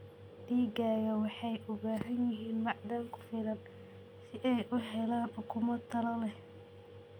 Digaagga waxay u baahan yihiin macdan ku filan si ay u helaan ukumo tayo leh.